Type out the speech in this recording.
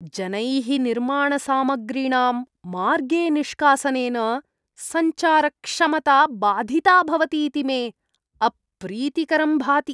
जनैः निर्माणसामग्रीणां मार्गे निष्कासनेन, सञ्चारक्षमता बाधिता भवतीति मे अप्रीतिकरं भाति।